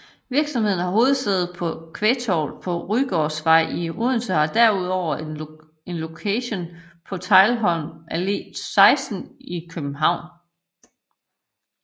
Virksomheden har hovedsæde på Kvægtorvet på Rugårdsvej i Odense og har derudover en lokation på Teglholm Allé 16 i København